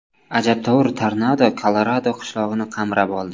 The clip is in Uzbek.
Ajabtovur tornado Kolorado qishlog‘ini qamrab oldi.